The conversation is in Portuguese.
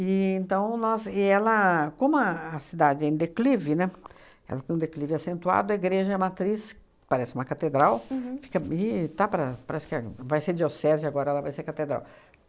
então nós e ela, como a a cidade é em declive, né, ela tem um declive acentuado, a igreja matriz, parece uma catedral, fica e está para parece que vai ser diocese agora, ela vai ser catedral.